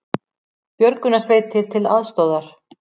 Björgunarsveitir til aðstoðar